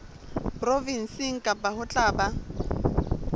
provenseng kang ho tla ba